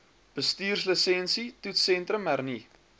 bestuurslisensie toetssentrum hernu